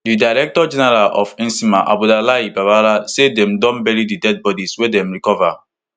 di director general of nsema abdullahi babaarah say dem don bury di dead bodies wey dem recover